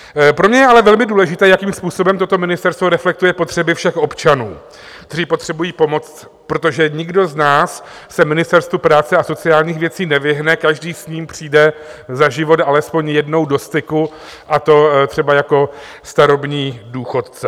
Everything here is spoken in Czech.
Pro mě je ale velmi důležité, jakým způsobem toto ministerstvo reflektuje potřeby všech občanů, kteří potřebují pomoc, protože nikdo z nás se Ministerstvu práce a sociálních věcí nevyhne, každý s ním přijde za život alespoň jednou do styku, a to třeba jako starobní důchodce.